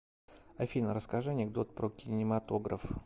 афина расскажи анекдот про кинематограф